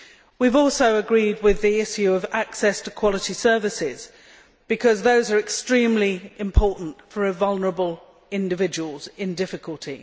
We have also agreed concerning the issue of access to quality services because those are extremely important for vulnerable individuals in difficulty.